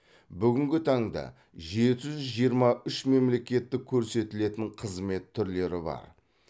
бүгінгі таңда жеті жүз жиырма үш мемлекеттік көрсетілетін қызмет түрлері бар